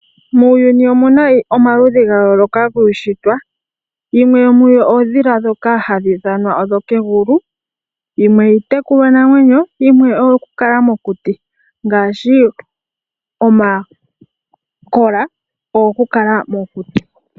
Muuyuni omu na omaludhi ga yoolokathana giishitwa. Oondhila dho kegulu nadho dhimwe dho miishitwa yaKalunga. Opu na iitekulwanamwenyo nosho tuu iiyamakuti. Omakola oha kala melundu.